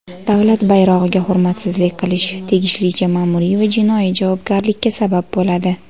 Davlat bayrog‘iga hurmatsizlik qilish tegishlicha maʼmuriy va jinoiy javobgarlikka sabab bo‘ladi.